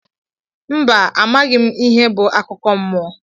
Mba amaghị mụ ihe bụ akụkọ mmụọ..